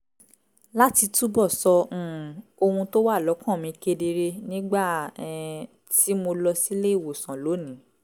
láti túbọ̀ sọ um ohun tó wà lọ́kàn mi kedere nígbà um tí mo lọ sílé ìwòsàn lónìí